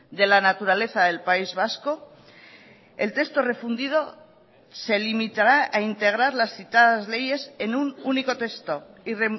de la naturaleza del país vasco el texto refundido se limitará a integrar las citadas leyes en un único texto y